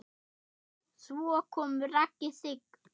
Svo kom Raggi Sig.